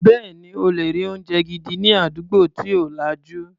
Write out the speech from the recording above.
Bẹ́ẹ̀ni, o lè rí oúnjẹ gidi ní àdúgbò tí ò lajú.